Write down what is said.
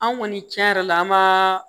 An kɔni tiɲɛ yɛrɛ la an ma